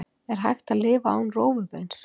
er hægt að lifa án rófubeins